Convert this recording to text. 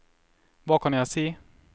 hva kan jeg si